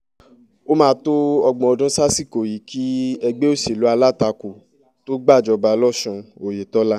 ó máa tó ọgbọ̀n ọdún sásìkò yìí kí ẹgbẹ́ òṣèlú alátakò tóo gbàjọba losùn oyetola